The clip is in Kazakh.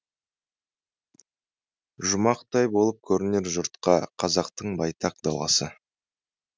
жұмақтай болып көрінер жұртқа қазақтың байтақ даласы